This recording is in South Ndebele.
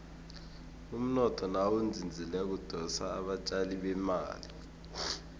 umnotho nawuzinzileko udosa abatjali bemali